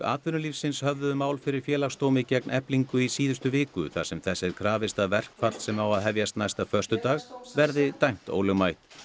atvinnulífsins höfðuðu mál fyrir Félagsdómi gegn Eflingu í síðustu viku þar sem þess er krafist að verkfall sem á að hefjast næsta föstudag verði dæmt ólögmætt